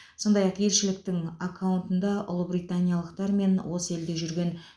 сондай ақ елшіліктің аккаунтында ұлыбританиялықтар мен осы елде жүрген